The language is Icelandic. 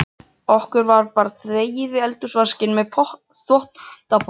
Okkur var bara þvegið við eldhúsvaskinn með þvottapoka.